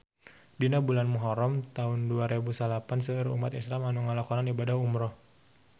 Dina bulan Muharam taun dua rebu salapan seueur umat islam nu ngalakonan ibadah umrah